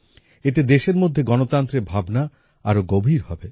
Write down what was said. এতে দেশের মধ্যে গণতন্ত্রের ভাবনা আরো গভীর হবে